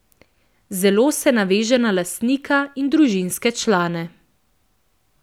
Zelo se naveže na lastnika in družinske člane.